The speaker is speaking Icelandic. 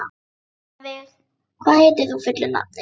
Rannveig, hvað heitir þú fullu nafni?